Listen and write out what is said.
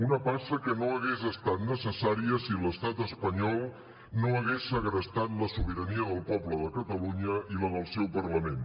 una passa que no hagués estat necessària si l’estat espanyol no hagués segrestat la sobirania del poble de catalunya i la del seu parlament